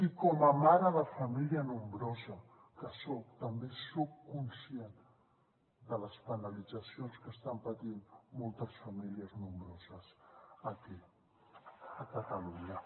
i com a mare de família nombrosa que soc també soc conscient de les penalitzacions que estan patint moltes famílies nombroses aquí a catalunya